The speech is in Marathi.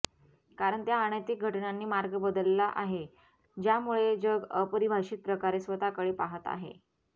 कारण त्या अनैतिक घटनांनी मार्ग बदलला आहे ज्यामुळे जग अपरिभाषित प्रकारे स्वतःकडे पाहत आहे